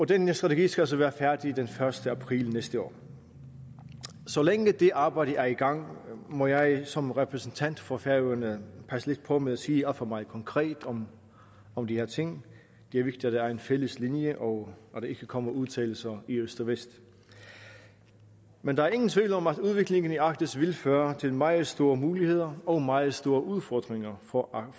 den her strategi skal altså være færdig den første april næste år så længe det arbejde er i gang må jeg som repræsentant for færøerne passe lidt på med at sige alt for meget konkret om om de her ting det er vigtigt at der er en fælles linje og at der ikke kommer udtalelser i øst og vest men der er ingen tvivl om at udviklingen i arktis vil føre til meget store muligheder og meget store udfordringer for